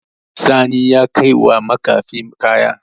Sani ya kaiwa makafi kaya.